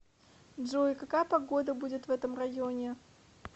джой какая погода будет в этом районе